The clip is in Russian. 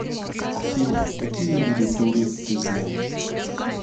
афина какие виды туры ты знаешь